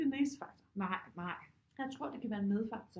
Det er den eneste faktor jeg tror det kan være en med faktor